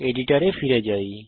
editor এ ফিরে যাই